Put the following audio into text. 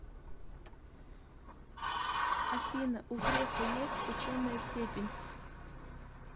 афина у грефа есть ученая степень